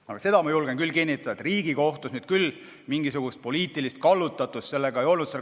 Aga seda ma julgen küll kinnitada, et Riigikohtus mingisugust poliitilist kallutatust ei olnud.